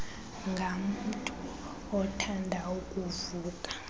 ngamntu othanda ukuvuka